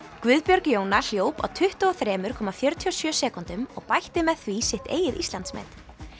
Guðbjörg Jóna hljóp á tuttugu og þrjú komma fjörutíu og sjö sekúndum og bætti með því sitt eigið Íslandsmet